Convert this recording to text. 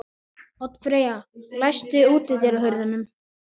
Oddfreyja, læstu útidyrunum.